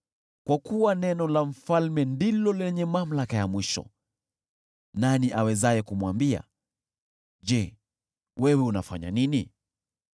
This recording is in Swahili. Kwa kuwa neno la mfalme ndilo lenye mamlaka ya mwisho, nani awezaye kumwambia, “Je, wewe unafanya nini?”